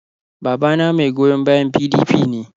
Babana mai goyon bayan PDP ne.